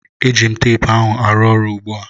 Eji m teepu ahụ arụ ọrụ ugbu a